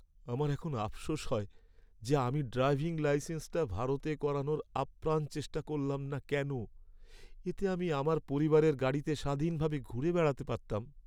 আমার এখন আফসোস হয় যে আমি ড্রাইভিং লাইসেন্সটা ভারতে করানোর আপ্রাণ চেষ্টা করলাম না কেন। এতে আমি আমার পরিবারের গাড়িতে স্বাধীনভাবে ঘুরে বেড়াতে পারতাম।